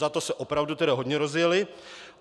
Za to se opravdu tedy hodně rozjeli.